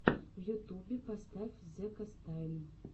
в ютубе поставь зекостнайн